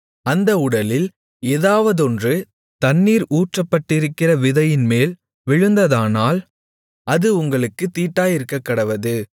அந்த உடலில் ஏதாவதொன்று தண்ணீர் ஊற்றப்பட்டிருக்கிற விதையின்மேல் விழுந்ததானால் அது உங்களுக்குத் தீட்டாயிருக்கக்கடவது